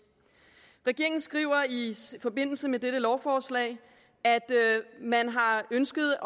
regeringen skriver i forbindelse med dette lovforslag at man har ønsket